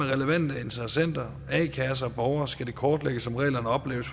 relevante interessenter a kasser og skal det kortlægges om reglerne opleves